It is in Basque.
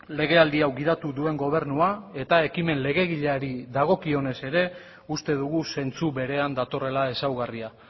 legealdi hau gidatu duen gobernua eta ekimen legegileari dagokionez ere uste dugu zentzu berean datorrela ezaugarria